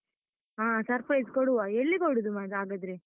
ಹಾ surprise ಕೊಡುವ, ಎಲ್ಲಿ ಕೊಡುದು ಮಾತ್ರ ಹಾಗಾದ್ರೆ?